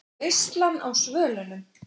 VEISLAN Á SVÖLUNUM